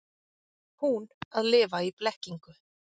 Hún að lifa í blekkingu.